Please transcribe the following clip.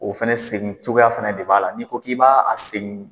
O fana segin cogoya fana de b'a la n'i ko k'i b'a segin